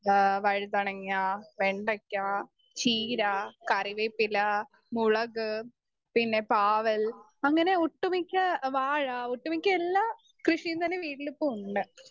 Speaker 2 ആ വഴുതണങ്ങ, വെണ്ടയ്ക്ക, ചീര, കറിവേപ്പില, മുളക് പിന്നെ പാവൽ അങ്ങനെ ഒട്ടുമിക്ക വാഴ ഒട്ടുമിക്കയെല്ലാകൃഷിയും തന്നെ വീട്ടിൽ ഇപ്പൊ ഉണ്ട്.